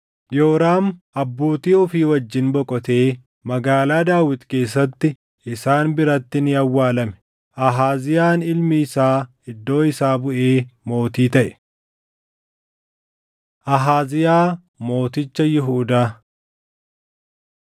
Yooraam abbootii ofii wajjin boqotee Magaalaa Daawit keessatti isaan biratti ni awwaalame. Ahaaziyaan ilmi isaa iddoo isaa buʼee mootii taʼe. Ahaaziyaa Mooticha Yihuudaa 8:25‑29 kwf – 2Sn 22:1‑6